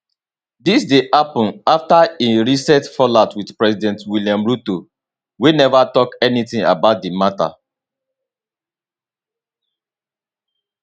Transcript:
dis dey happun afta e recent fallout with president william ruto wey never tok anything about di matter